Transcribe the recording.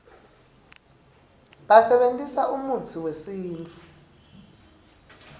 basebentisa umutsi uesintfu